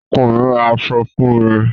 Ọkọ mi ra àṣọ fún mi.